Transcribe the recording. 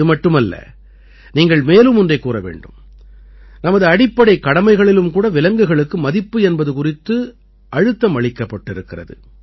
இது மட்டுமல்ல நீங்கள் மேலும் ஒன்றைக் கூற வேண்டும் நமது அடிப்படைக் கடமைகளிலும் கூட விலங்குகளுக்கு மதிப்பு என்பது குறித்து அழுத்தம் அளிக்கப்பட்டிருக்கிறது